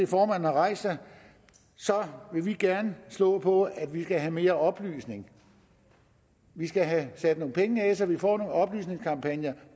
formanden har rejst sig vil vi gerne slå på at vi skal have mere oplysning vi skal have sat nogle penge af så vi får nogle oplysningskampagner